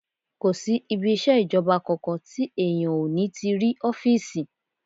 Kò sí ibi iṣẹ́ ìjọba kankan tí èèyàn ò ní ti rí ọ́fìsì